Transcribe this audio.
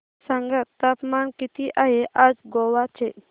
सांगा तापमान किती आहे आज गोवा चे